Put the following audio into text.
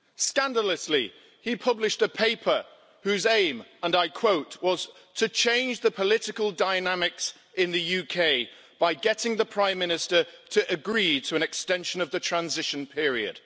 Scandalously, he published a paper whose aim and I quote was to change the political dynamics in the UK by getting the Prime Minister to agree to an extension of the transition period.